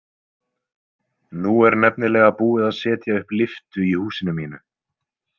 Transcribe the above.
Nú er nefnilega búið að setja upp lyftu í húsinu mínu.